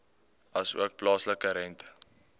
asook plaaslike rente